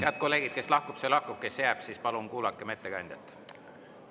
Head kolleegid, kes lahkub, see lahkub, kes jääb, siis palun kuulakem ettekandjat!